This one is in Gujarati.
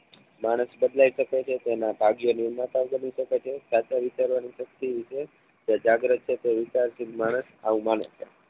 માણશ બદલાય શકે છે તેના ભાગ્ય શકે છે. કાટો વિચારવા ની શક્તિ વિશે તે જાગ્રત છે કે વિશાલશીલ માણસ આવું બને